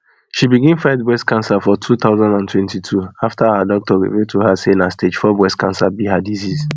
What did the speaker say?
she begin fight breast cancer for two thousand and twenty-two afta her doctor reveal to her say na stage four breast cancer be her diseases